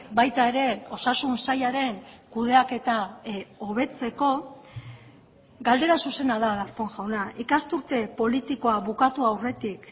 baita ere osasun sailaren kudeaketa hobetzeko galdera zuzena da darpón jauna ikasturte politikoa bukatu aurretik